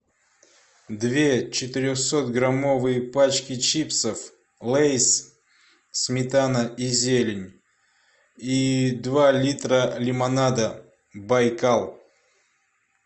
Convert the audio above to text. две четырехсотграммовые пачки чипсов лейс сметана и зелень и два литра лимонада байкал